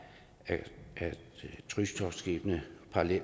at krydstogtskibene